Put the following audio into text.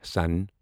سون